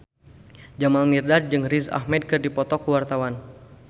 Jamal Mirdad jeung Riz Ahmed keur dipoto ku wartawan